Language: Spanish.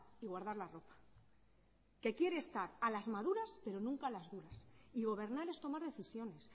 y guardar la ropa que quiere estar a las maduras pero nunca a las duras y gobernar es tomar decisiones